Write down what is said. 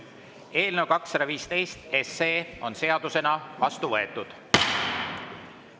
Eelnõu 215 on seadusena vastu võetud.